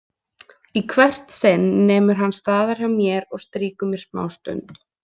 Í hvert sinn nemur hann staðar hjá mér og strýkur mér smástund.